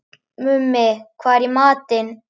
Mummi, hvað er í matinn?